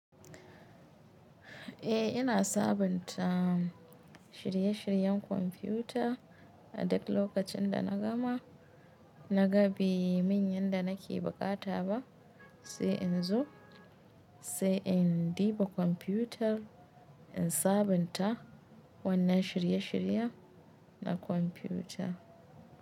Eh ina sabunta shirye-shiryen kwamfuta a duk lokacin da na gama. Na gan be min yanda nake bukata ba sai in zo, sai in ɗiba kwamfutar in sabunta wannan shirye-shirye na kwamfuta.